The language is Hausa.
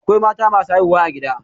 Akwai mata masu haihuwa a gida.